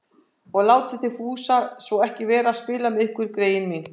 Og látið þið Fúsa svo ekki vera að spila með ykkur, greyin mín